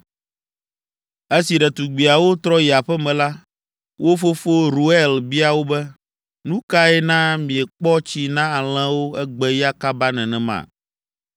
Esi ɖetugbiawo trɔ yi aƒe me la, wo fofo, Reuel bia wo be, “Nu kae na miekpɔ tsi na alẽwo egbe ya kaba nenema?”